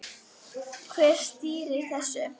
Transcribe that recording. Hver stýrir þessu?